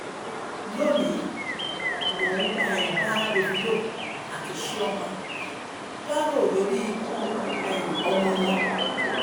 lónìí mò ń um bá davido àti chioma dárò lórí ikú um ọmọ wọn